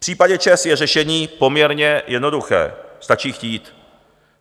V případě ČEZ je řešení poměrně jednoduché, stačí chtít.